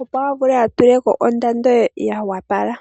opo avule atuleko ondando yoopala.